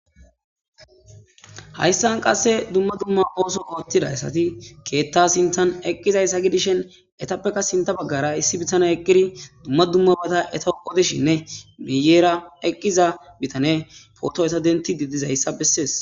Hasan qasika duma duma oso otida asati ketha sinthan eqidayisa gidishin etappeka sintha bagara issi bitane eqidi duma dumabata etawu odishinne guyera eqida bitane foto eta dentidi dizayisa beses